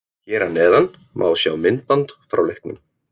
Hér að neðan má sjá myndband frá leiknum: